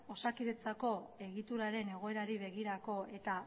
osakidetzako egituraren egoerari begirako eta